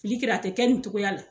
Fili kɛra a ti kɛ nin togoya la